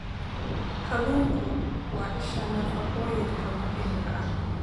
Kalluunku waa isha nafaqooyinka muhiimka ah.